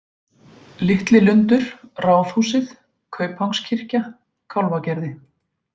Litli Lundur, Ráðhúsið, Kaupangskirkja, Kálfagerði